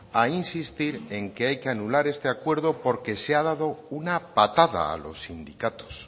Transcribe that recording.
a insistir en que hay que anular este acuerdo porque se ha dado una patada a los sindicatos